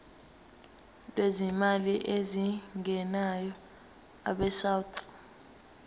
lwezimali ezingenayo abesouth